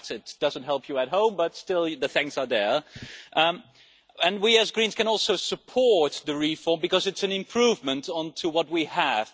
That doesn't help you at home, but still the thanks are there, and we as Greens can also support the reform because it's an improvement on what we have.